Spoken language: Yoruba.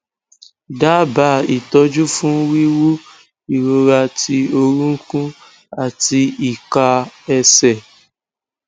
daaba itoju fun wiwu irora ti orunkun ati ika ese